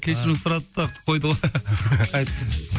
кешірім сұрады да қойды ғой